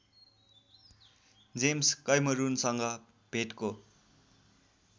James कैमरूनसँग भेटको